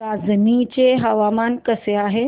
रांझणी चे हवामान कसे आहे